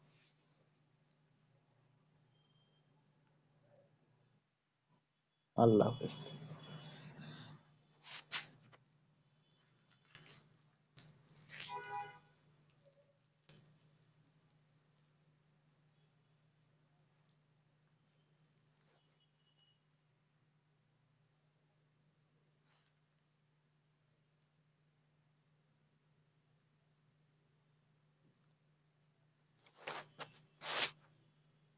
আল্লাহ হাফিজ